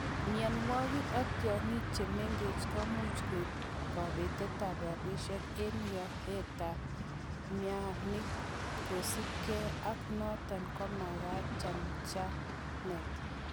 Mionwogik ak tiong'ik che mengechen, komuch koib kobetet ab rabisiek en iyootet ab mainik, kosiibge ak noton komagat chanchanet.